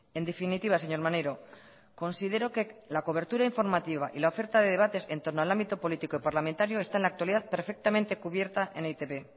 en definitiva señor maneiro considero que la cobertura informativa y la oferta de debates en torno al ámbito político y parlamentario está en la actualidad perfectamente cubierta en e i te be